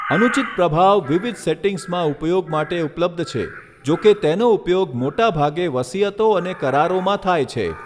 અનુચિત પ્રભાવ વિવિધ સેટિંગ્સમાં ઉપયોગ માટે ઉપલબ્ધ છે, જો કે તેનો ઉપયોગ મોટાભાગે વસિયતો અને કરારોમાં થાય છે.